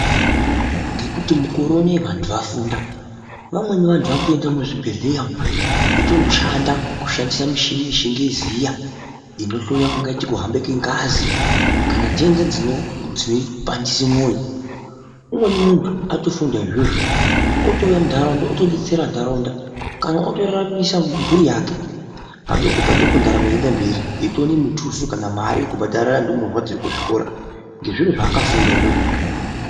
Ngekuti mukore unowu vantu vafunda vamweni vantu vakutoenda muzvibhedhleya umu veitondoshanda kushandisa michini yechingezi iyaaa inohloya kungaa kuhamba kwengazi kana nhenda dzinopandisa mwoyo. Umweni muntu atofunda izvozvo otouya munharaunda otodetsera nharaunda kana otoraramisa mhuri yake padoko padoko ndaramo yeienda mberi eitoona mutuso kana mari yekubhadharira ndumurwa dziri kuzvikora ngezviro zvaakafunda izvozvo.